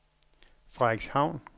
Frederikshavn